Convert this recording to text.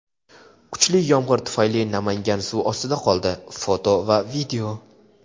Kuchli yomg‘ir tufayli Namangan suv ostida qoldi (foto va video).